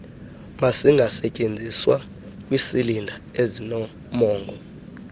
mazingasetyenziswa kwisilinda ezinomongo